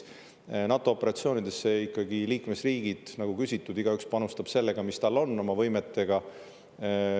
NATO operatsioonidesse ikkagi liikmesriigid panustavad igaüks sellega, mis tal on, oma võimetega.